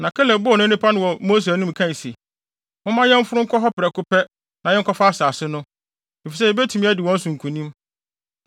Na Kaleb bɔɔ nnipa no ano wɔ Mose anim kae se, “Momma yɛmforo nkɔ hɔ prɛko pɛ na yɛnkɔfa asase no, efisɛ yebetumi adi wɔn so nkonim.”